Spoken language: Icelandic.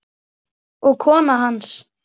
og kona hans.